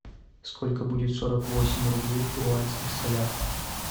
сколько будет сорок восемь рублей в перуанских солях